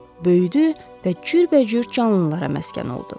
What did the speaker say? Böyüdü və cürbəcür canlılara məskən oldu.